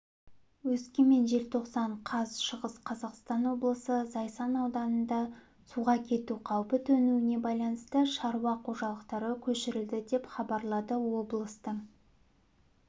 өскемен желтоқсан қаз шығыс қазақстан облысы зайсан ауданында суға кету қаупі төнуіне байланысты шаруа қожалықтары көшірілді деп хабарлады облыстың